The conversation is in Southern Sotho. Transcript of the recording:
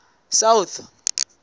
south